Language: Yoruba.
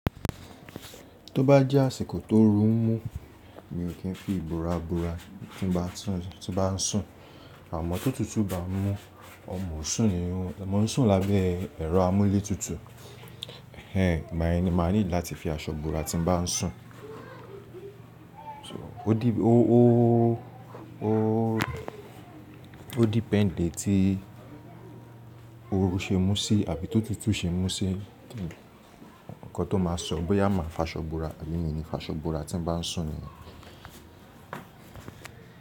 Tó bá jẹ́ àsìkò tó oru n mú mi ò kí n fi ìbora bora tí n bá sùn, àmọ́ tó tútù bá mú mo ń sùn ní irun, ọmọ ń sùn lábẹ́ ẹ̀rọ amúlétutù, igba yẹn ni ma need láti fi aṣọ bora tí n bá sùn. So ó depend ti oru ṣe mú sí àbí tó tútù ṣe mú sí nǹkan tó máa sọ bóyá máa faṣọ bora àbí mi i ni faṣọ bora tí n bá sùn ni yẹn.